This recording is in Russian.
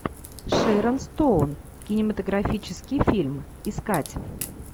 шэрон стоун кинематографический фильм искать